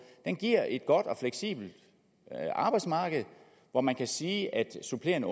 et godt og fleksibelt arbejdsmarked hvor man kan sige at supplerende